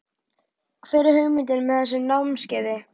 Hver er hugmyndin með þessu námskeiði?